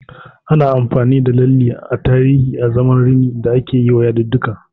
Ana amfani da lalle a tarihi azaman rini da akeyiwa yadudduka.